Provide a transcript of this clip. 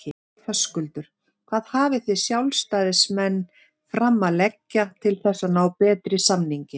Höskuldur: Hvað hafið þið sjálfstæðismenn fram að leggja til þess að ná betri samningi?